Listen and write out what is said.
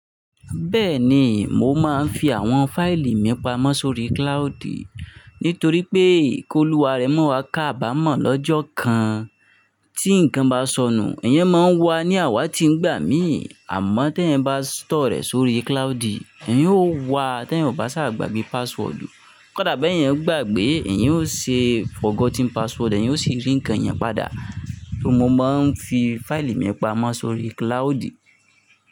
Bẹ́ẹ̀ ni, mo máa ń fi àwọn fáìlì mi pamọ́ sórí cloud nítorí pé kí olùwàrẹ́ máa wá ká bá mọ̀ lọ́jọ́ kan tí nǹkan bá sọnù, ẹ̀yin máa ń wa ní àwá tí ń gbà mí. Àmọ́ tí ẹ bá store rẹ̀ sórí cloud, ẹ̀yin ó wà á tí ẹ bá ṣà gbàgbé password. Kódà bé ẹ̀yàn gbàgbé ẹ̀yán ó ṣe forgotten password, ẹ̀yàn ó sì rí nǹkan yẹn padà. Mo máa ń fi fáìlì mi pamọ́ sórí cloud.